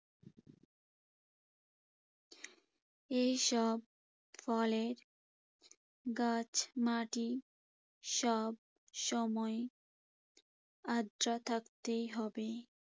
এইসব ফলের গাছ, মাটি সবসময় আর্দ্র থাকতেই হবে।